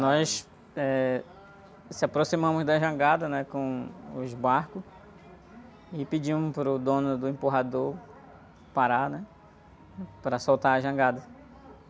Nós, eh, nos aproximamos da jangada, né? Com os barcos e pedimos para o dono do empurrador parar, né? Para soltar a jangada.